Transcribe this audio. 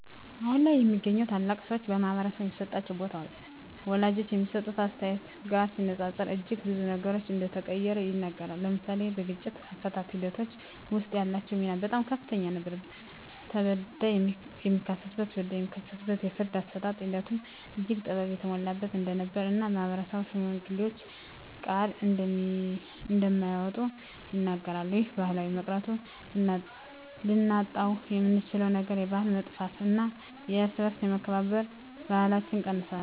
አሁን ላይ የሚገኙ ታላላቅ ሰወች በማህበረሰቡ የሚሰጣቸው ቦታ ወላጆች ከሚሰጡት አስተያየት ጋር ሲነፃፀር እጅግ ብዙ ነገሮች እንደተቀየረ ይናገራሉ። ለምሳሌ በግጭት አፈታት ሒደቶች ወስጥ ያላቸው ሚና በጣም ከፍተኛ ነበር ተበዳይ የሚካስበት በዳይ የሚክስበት የፍርድ አሰጣጥ ሒደቱም እጅግ ጥበብ የተሞላበት እንደነበር እና ማህበረሰብም ከሽማግሌወች ቃል እንደማይወጡ ይናገራሉ። ይህ ባህል በመቅረቱ ልናጣውየምንችለው ነገር የባህል መጥፍት እና የእርስ በእርስ የመከባበር ባህለች ቀንሶል።